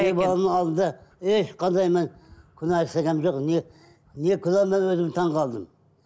ешқандай мен күнә жасағаным жоқ не не күнә мен өзі таңғалдым